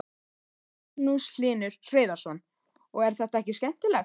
Magnús Hlynur Hreiðarsson: Og er þetta ekki skemmtilegt?